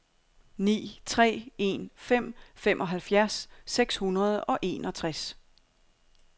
ni tre en fem femoghalvfjerds seks hundrede og enogtres